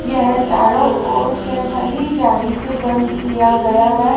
यह चारों ओर से हरी जाली से बंद किया गया है।